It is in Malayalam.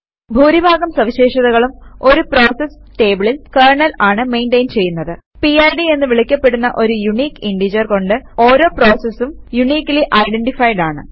ഭൂരിഭാഗം സവിശേഷതകളും ഒരു പ്രോസസ് ടേബിളിൽ കെര്ണൽ ആണ് മെയിന്റയിൻ ചെയ്യുന്നത് പിഡ് എന്ന് വിളിക്കപ്പെടുന്ന ഒരു യൂണിക്ക് ഇന്റജർ കൊണ്ട് ഓരോ പ്രോസസും യൂണിക്കലി ഐഡന്റിഫൈഡ് ആണ്